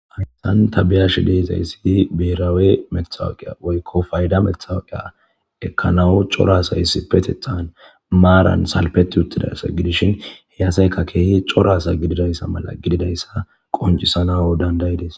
Amihan tabiyashi deezayssidi beerawe mexawuqiya woykko fayda methawaqiya ekkanawu corasays petethan maaran salpeti uttidayssa gidishin heyasayka keehi corasa gididayssa mala gididayssa qoncisanao dandayides